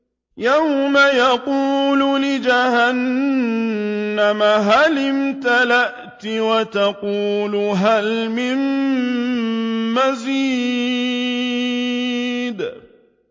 يَوْمَ نَقُولُ لِجَهَنَّمَ هَلِ امْتَلَأْتِ وَتَقُولُ هَلْ مِن مَّزِيدٍ